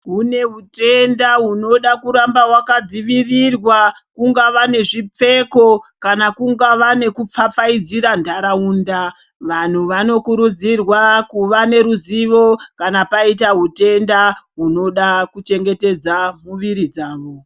Kune hutenda hunoda kuramba hwakadzivirirwa kungava nezvipfeko kana kungava nekupfapfaidzira ntaraunda vantu vanokurudzirwa kuva neruzivo kana paita hutenda hunoda kuchengetedza muviri dzavo .